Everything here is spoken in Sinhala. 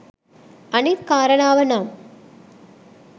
අනිත් කාරණාව නම්